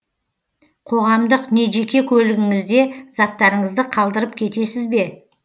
қоғамдық не жеке көлігіңізде заттарыңызды қалдырып кетесіз бе